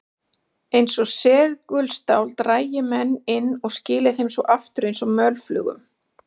Eins og segulstál drægi menn inn og skili þeim svo aftur eins og mölflugum.